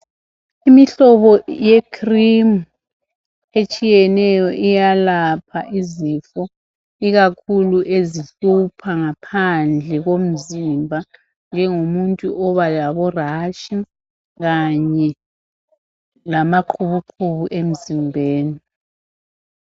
Imihlobo ye cream etshiyeneyo iyalapha izifo . Ikakhulu ezihlupha ngaphandle komzimba ,njengomuntu oba labo rash kanye lamaqubu qubu emzimbeni.